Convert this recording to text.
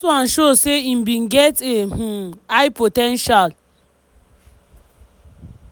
dat one show say im bin get a um high po ten tial.